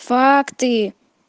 факты